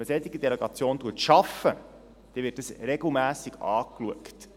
Wenn man eine solche Delegation schafft, dann wird das regelmässig angeschaut.